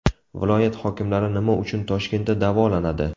Viloyat hokimlari nima uchun Toshkentda davolanadi?